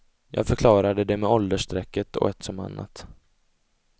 Jag förklarade det med åldersstrecket och ett som annat.